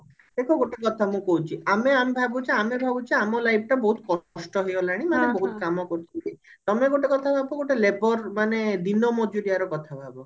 ଦେଖ ଗୋଟେ କଥା ମୁଁ କହୁଛି ଆମେ ଆମେ ଭାବୁଛେ ଆମେ ଭାବୁଛେ ଆମ life ଟା ବହୁତ କଷ୍ଟ ହେଇଗଲାଣି ଆମେ ବହୁତ କାମ କରୁଛେ ତମେ ଗୋଟେ କଥା ଭାବ ଗୋଟେ labour ମାନେ ଦିନ ମଜୁରିଆ ର କଥା ଭାବ